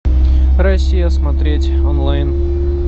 россия смотреть онлайн